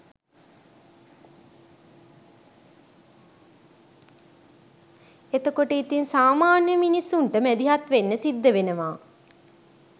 එතකොට ඉතින් සාමාන්‍ය මිනිස්සුන්ට මැදිහත් වෙන්න සිද්ධ වෙනවා